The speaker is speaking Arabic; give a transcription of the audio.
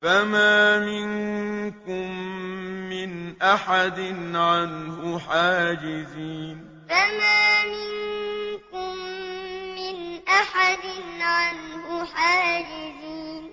فَمَا مِنكُم مِّنْ أَحَدٍ عَنْهُ حَاجِزِينَ فَمَا مِنكُم مِّنْ أَحَدٍ عَنْهُ حَاجِزِينَ